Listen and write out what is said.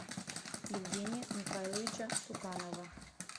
евгения михайловича цуканова